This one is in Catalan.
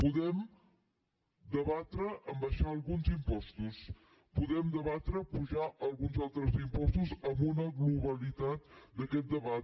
podem debatre abaixar alguns impostos podem debatre apujar alguns altres impostos amb una globalitat d’aquest debat